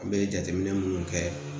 An bɛ jateminɛ minnu kɛ